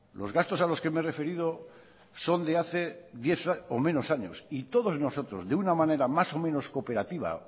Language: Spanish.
los gastos a los que me he referido son de hace diez o menos años y todos nosotros de una manera más o menos cooperativa